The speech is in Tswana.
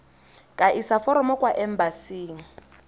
ka isa foromo kwa embasing